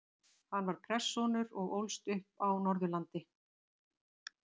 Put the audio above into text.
Hann var prestssonur og ólst upp á Norðurlandi.